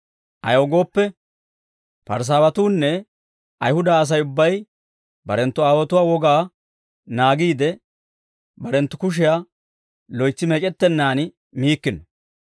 Ayaw gooppe, Parisaawatuunne Ayihuda Asay ubbay barenttu aawotuwaa wogaa naagiide, barenttu kushiyaa loytsi meec'ettennaan miikkino.